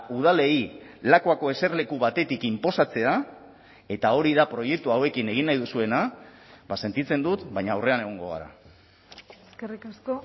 udalei lakuako eserleku batetik inposatzea eta hori da proiektu hauekin egin nahi duzuena sentitzen dut baina aurrean egongo gara eskerrik asko